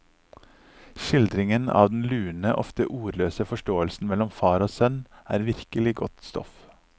Skildringen av den lune, ofte ordløse forståelsen mellom far og sønn er virkelig godt stoff.